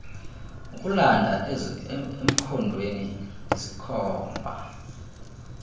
ukulanda emkhondweni izikhomba